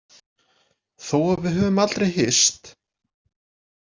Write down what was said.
Þó að við höfum aldrei hist.